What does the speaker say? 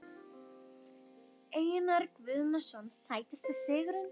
Einar Guðnason Sætasti sigurinn?